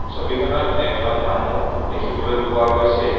ছবিখনত এহজন মানুহ দেখিবলৈ পোৱা গৈছে।